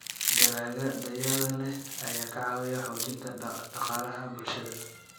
Dalagga tayada leh ayaa ka caawiya xoojinta dhaqaalaha bulshada.